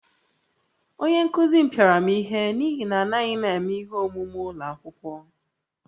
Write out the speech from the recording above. Onye nkụzi m pịara m ihe n’ihi na anaghị m eme ihe omume ụlọ akwụkwọ